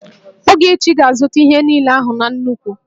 Ogechi ga-azụta ihe niile ahụ na nnukwu